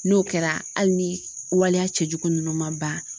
N'o kɛra hali ni waleya cɛjugu ninnu ma ban